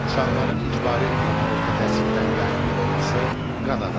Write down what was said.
Uşaqların icbari ümumi orta təhsildən yayındırılması qadağandır.